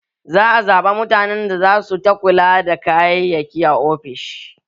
Za a zaɓi mutane da za su ta kula da kayayyaki a ofishin